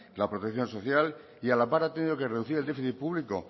la protección social y a la par ha tenido que reducir el déficit público